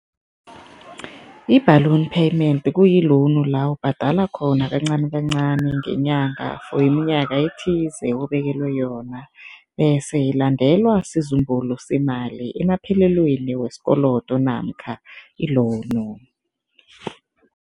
I-balloon payment kuyi-loan la ubhadala khona kancanikancani ngenyanga for iminyaka ethize obekelwa yona bese ilandelwa sizumbulu semali emaphelelweni wesikolodo namkha i-loan.